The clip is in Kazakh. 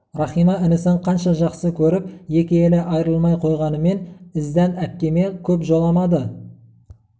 рахима інісін қанша жақсы көріп екі елі айрылмай қойғанымен іздән әпкеме көп жоламады